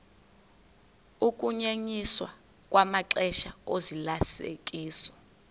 ukunyenyiswa kwamaxesha ozalisekiso